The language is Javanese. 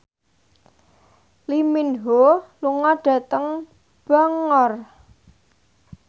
Lee Min Ho lunga dhateng Bangor